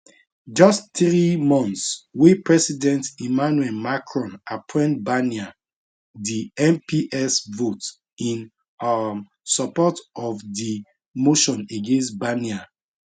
just three months wey president emmanuel macron appoint barnier di mps vote in um support of di motion against barnier